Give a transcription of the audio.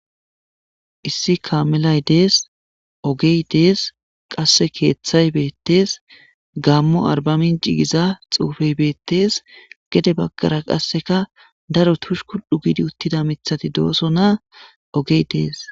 Issi kaamelay dees, keeththay dees qasse ogey dees,keethay beettees, gaammo arbamince giza xuufey beettees,gede baggaraka ogey dees,heni baggara qasse tushkudhdhu giidi uttida miththi beettees.